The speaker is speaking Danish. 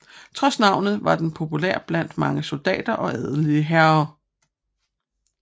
Trods navnet var den populær blandt mange soldater og adelige herrer